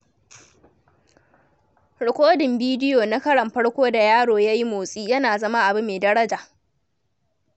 Rikodin bidiyo na karon farko da yaro ya yi motsi yana zama abu mai daraja.